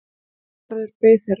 Kálgarðurinn beið þeirra.